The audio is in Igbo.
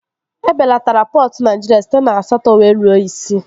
E belatara pọtụ Naịjirịa site na asatọ wee ruo isii